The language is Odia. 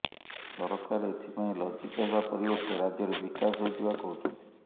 ସରକାର ଏଥିପାଇଁ ଲଜ୍ଜିତ ହେବା ପରିବର୍ତ୍ତେ ରାଜ୍ୟର ବିକାଶ ହୋଇଥିବା କହୁଛନ୍ତି